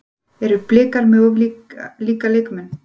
Eru Blikar með of líka leikmenn?